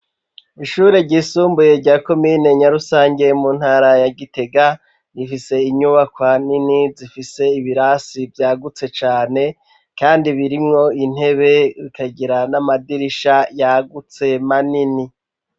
Ishure ryisumbuye, rya komine Nyarusange, mu ntara ya Gitega, rifise inyubakwa nini, zifise ibirasi vyagutse cane; kandi birimwo intebe, bikagira n'amadirisha yagutse, manini.